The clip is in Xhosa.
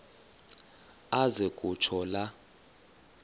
aze kutsho la